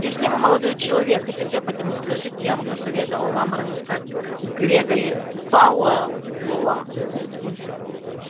если вы молодой человек хотите об этом услышать я бы посоветовала вам разыскать грегори пауэлла